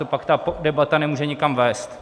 To pak ta debata nemůže nikam vést.